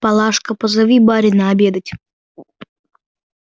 палашка позови барина обедать